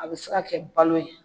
A bɛ se ka kɛ balo ye.